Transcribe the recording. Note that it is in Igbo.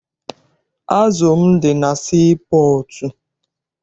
Azụ m dị na sii pọọtụ.